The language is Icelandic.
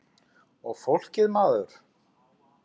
Og fólkið maður.